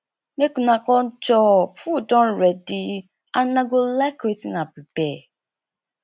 make una come chop food don ready and una go like wetin i prepare